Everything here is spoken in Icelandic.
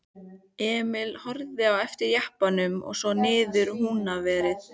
Emil horfði á eftir jeppanum og svo niðrað Húnaveri.